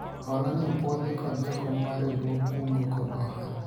hola ni opwodhi kod jakom mar riwruog kungo kod hola